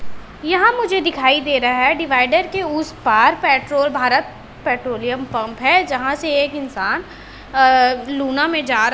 यहां मुझे दिखाई दे रहा है डिवाइडर के उस पार पेट्रोल भारत पेट्रोलियम पंप है जहां से एक इंसान अ लूना में जा--